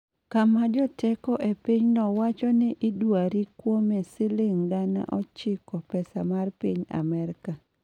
kama joteko epinyno wacho ni idwari kuome siling gana ochiko pesa mar piny Amerka